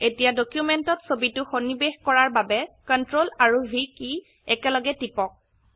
এতিয়া ডকিউমেন্টত ছবিটো সন্নিবেশ ক ৰাৰ বাবে Ctrl আৰু v কী দুটা একেলগে টিপক